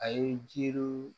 A ye jiriw